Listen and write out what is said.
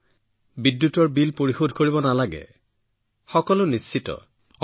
কোনো বিদ্যুতৰ বিল পৰিশোধ কৰিব নালাগে তেওঁলোক চিন্তামুক্ত হৈ পৰিছে